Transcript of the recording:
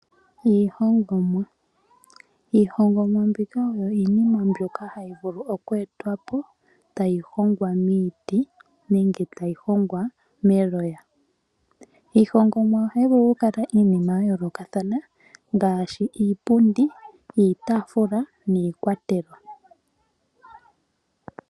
Iihongomwa mbika oyo iinima mbyoka hayi vulu oku etwapo tayi hongwa miiti nenge tayi hongwa meloya. Iihongomwa ohayi vulu okukala iinima yayoolokathana ngaashi iipundi, iitafula niikwatelwa.